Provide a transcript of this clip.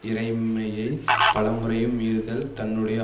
இறைமையை பல முறையும் மீறுதல் தன்னுடைய